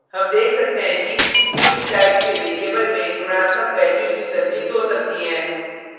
हम देख सकते हैं कि int type के variables में ऋणात्मक values भी संचित हो सकती हैं